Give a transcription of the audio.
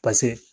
pase